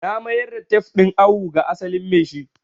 Na mayar da tef din awo ga asalin maishi